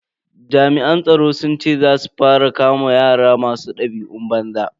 Jami'an tsaro sun ce za su fara kama yara masu dabi'un banza.